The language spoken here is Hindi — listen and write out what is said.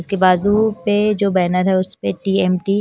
उसके बाजू पे जो बैनर है उसपे टी_एम_टी --